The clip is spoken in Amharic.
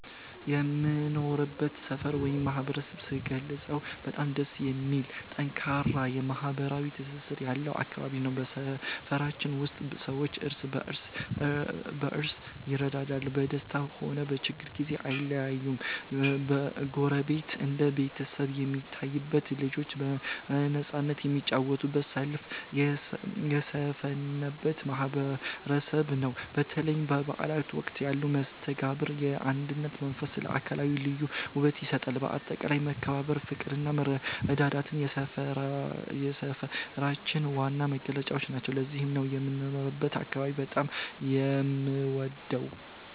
የምኖርበትን ሰፈር ወይም ማህበረሰብ ስገልጸው በጣም ደስ የሚልና ጠንካራ ማህበራዊ ትስስር ያለው አካባቢ ነው። በሰፈራችን ውስጥ ሰዎች እርስ በርስ ይረዳዳሉ፤ በደስታም ሆነ በችግር ጊዜ አይለያዩም። ጎረቤት እንደ ቤተሰብ የሚታይበት፣ ልጆች በነፃነት የሚጫወቱበትና ሰላም የሰፈነበት ማህበረሰብ ነው። በተለይ በበዓላት ወቅት ያለው መስተጋብርና የአንድነት መንፈስ ለአካባቢው ልዩ ውበት ይሰጠዋል። በአጠቃላይ መከባበር፣ ፍቅርና መረዳዳት የሰፈራችን ዋና መገለጫዎች ናቸው። ለዚህም ነው የምኖርበትን አካባቢ በጣም የምወደው።